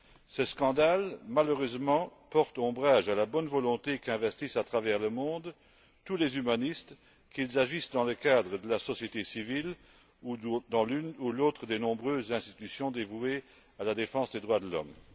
Ce scandale, malheureusement, porte préjudice à la bonne volonté qu'investissent à travers le monde tous les humanistes, qu'ils agissent dans le cadre de la société civile ou dans l'une ou l'autre des nombreuses institutions dévouées à la défense des droits de l'homme.